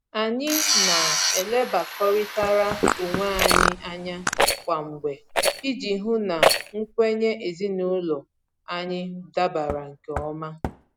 Anyị na-elebakọrịtara onwe anyị anya kwa mgbe iji hụ na nkwenye ezinụlọ anyị dabara nke ọma